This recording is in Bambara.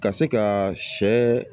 Ka se ka sɛ